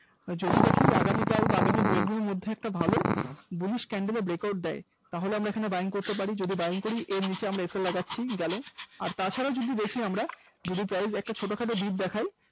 যদি দেখি আগামীকাল আগামী দু-একদিনের মধ্যে একটা ভালো Bullish candle এর break out দেয় তাহলে আমরা এখানে Buying করতে পারি, যদি Buying করি এর নিচে আমরা sl লাগাচ্ছি গেল তাছাড়াও যদি দেখি আমরা যদি price একটা ছোটখাটো Deep দেখায়